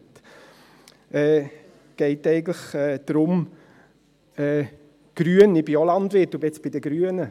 Es geht eigentlich darum: Grün – ich bin auch Landwirt und ich bin bei den Grünen.